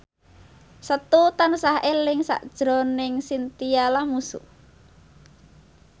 Setu tansah eling sakjroning Chintya Lamusu